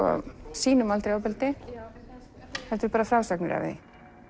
sýnum aldrei ofbeldi heldur bara frásagnir af því